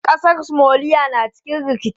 Ƙasar Somalia na cikin rikici.